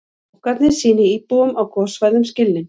Bankarnir sýni íbúum á gossvæðum skilning